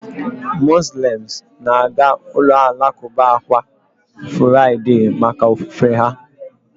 Muslems na-aga ụlọ alakụba kwa furaịdee maka ofufe ha